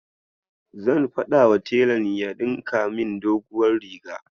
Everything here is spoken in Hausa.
Zan faɗawa telan ya ɗinka min doguwar riga